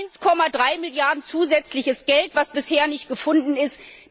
1,3 Milliarden zusätzliches Geld, das bisher nicht gefunden ist.